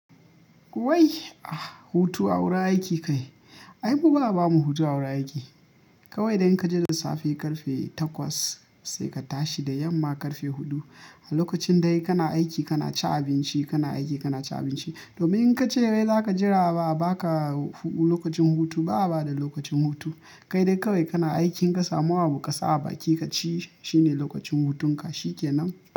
Wai ah hutu a wurin aiki kai? Ai mu ba'a bamu hutu a wurin aiki. Kawai dai in kaje da safe ƙarfe takwas sai ka tashi da yamma ƙarfe huɗu. A lokacin dai kana aiki kana cin abinci kana aiki kana cin abinci. Domin in ka ce wai za ka jira abaka hutu lokacin hutu, ba a ba da lokacin hutu. Kai dai kawai kana aiki in ka samu abu ka sa a baki ka ci shi ne lokacin hutun ka shike nan.